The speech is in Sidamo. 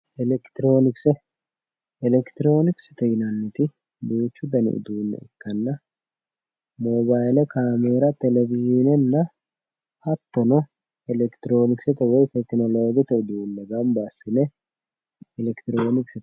Elekitiroonkise elekitiroonikisete yinanniti duuchu dani uduunne ikkanna moobayile caameera telewishiinenna hattono elekitiroonikisete woyi tekinoloojete uduunne gamba assine elekitiroonikisete yinanni.